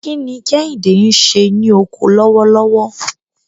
Kí ni Kehinde ń ṣe ní oko lọ́wọ́lọ́wọ́?